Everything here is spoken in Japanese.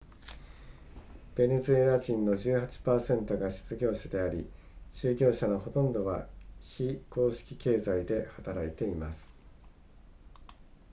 ベネズエラ人の 18% が失業者であり就業者のほとんどは非公式経済で働いています